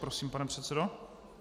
Prosím, pane předsedo.